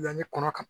Yanɲɛ kɔnɔ ka